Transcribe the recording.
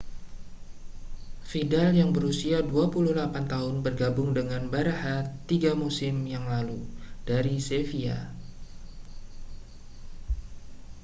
vidal yang berusia 28 tahun bergabung dengan barã§a tiga musim yang lalu dari sevilla